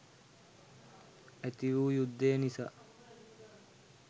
ඇති වූ යුද්ධය නිසා